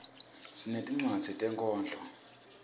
sinetincwadzi tetinkhondlo